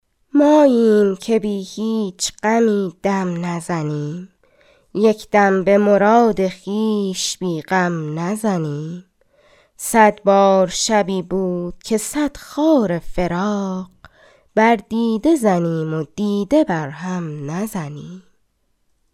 ماییم که بی هیچ غمی دم نزنیم یک دم به مراد خویش بی غم نزنیم صدبار شبی بود که صد خار فراق بر دیده زنیم و دیده بر هم نزنیم